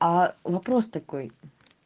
а вопрос такой